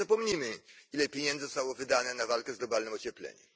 Ale my nie zapomnimy, ile pieniędzy zostało wydane na walkę z globalnym ociepleniem.